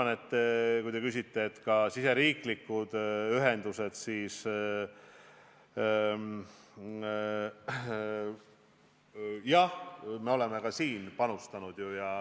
Nüüd, kui te küsite riigisiseste ühenduste kohta, siis jah, me oleme nendesse panustanud.